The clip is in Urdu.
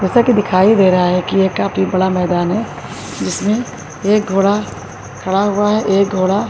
جیسا کہ دکھائی دے رہا ہے کہ ایک کافی بڑا میدان ہے۔ جس میں ایک گھوڑا کھڑا ہوا ہے۔ ایک گھوڑا --